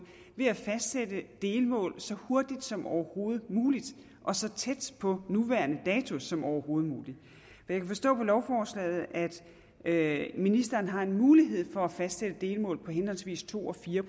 ved at fastsætte delmål så hurtigt som overhovedet muligt og så tæt på nuværende dato som overhovedet muligt jeg kan forstå på lovforslaget at ministeren har mulighed for at fastsætte delmål på henholdsvis to og fire